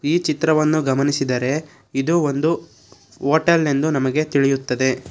ಈ ಚಿತ್ರವನ್ನು ಗಮನಿಸಿದರೆ ಇದು ಒಂದು ಹೋಟೆಲ್ ಎಂದು ನಮಗೆ ತಿಳಿಯುತ್ತದೆ.